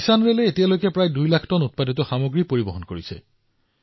কিষাণৰেলে এতিয়ালৈকে প্ৰায় ২ লাখ টন উৎপাদন পৰিবহণ কৰিছে